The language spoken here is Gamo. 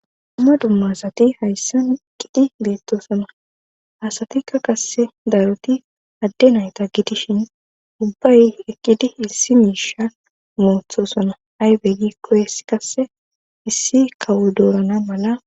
Dumma dumma asati hayssan eqidi beettoosona hasatikka kasse daaroti adde nayta gidishin ubbay eqqidi issi miisha moothosona aybeygi kohes kasse issi kawo doorana mala